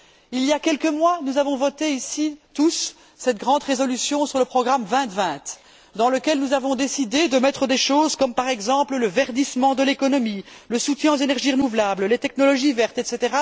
Il y a quelques mois, nous avons, tous ici, voté cette grande résolution sur le programme 2020 dans lequel nous avons décidé de mettre des choses comme par exemple le verdissement de l'économie, le soutien aux énergies renouvelables, les technologies vertes, etc.,